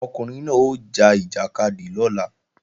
Ọkùnrin náà ó ja ìjàkadì lọ́la